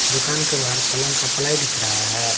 दुकान के बाहर पलंग का पलाई दिख रहा है।